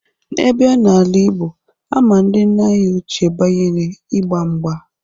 A bịa n'ala igbo, ama ndị nna anyị oche banyere igba mgba.